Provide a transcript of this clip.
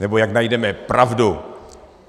Nebo jak najdeme pravdu.